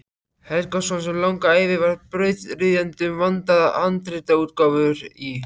Helgason sem langa ævi var brautryðjandi um vandaðar handritaútgáfur í